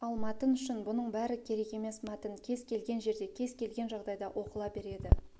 ал мәтін үшін бұның бәрі керек емес мәтін кез келген жерде кез келген жағдайда оқыла береді